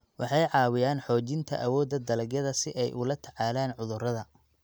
Waxay caawiyaan xoojinta awoodda dalagyada si ay ula tacaalaan cudurrada.